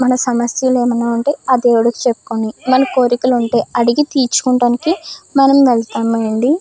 మన సమస్యలు ఏమైనా ఉంటే ఆ దేవుడుకి చెప్పుకొని మన కోరికలు ఉంటే అడిగి తీర్చుకోడానికి మనం వెళ్తామండి.